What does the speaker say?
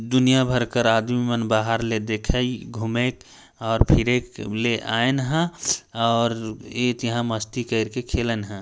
दुनिया भर कर आदमी मन बाहर ले देखे घूमे और फिरे के ले आएन ह और एक यहाँ मस्ती कर के खेलन है।